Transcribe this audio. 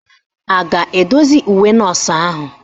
Ị ga-edozi uwe nọọsụ ahụ?